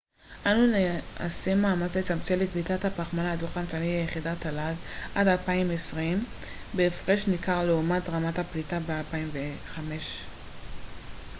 אנו נעשה מאמץ לצמצם את פליטת הפחמן הדו-חמצני ליחידת תל ג עד 2020 בהפרש ניכר לעומת רמת הפליטה ב-2005 אמר הו